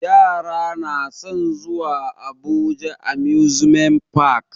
Yara na san zuwa abuja amusement park